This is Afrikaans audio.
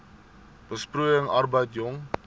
besproeiing arbeid jong